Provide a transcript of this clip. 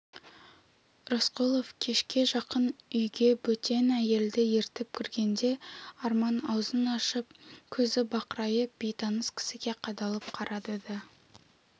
рысқұлов кешке жақын үйге бөтен әйелді ертіп кіргенде арман аузын ашып көзі бақырайып бейтаныс кісіге қадалып қарады да